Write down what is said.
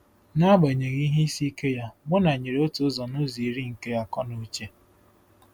N'agbanyeghị ihe isi ike ya, Muna nyere otu ụzọ n'ụzọ iri nke akọ na uche.